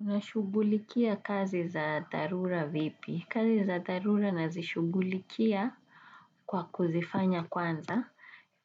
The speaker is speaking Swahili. Unashugulikia kazi za darura vipi? Kazi za darura nazishugulikia kwa kuzifanya kwanza